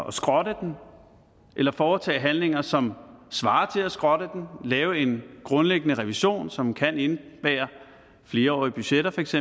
at skrotte den eller foretage handlinger som svarer til at skrotte den lave en grundlæggende revision som kan indebære flerårige budgetter feks